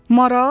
Maral?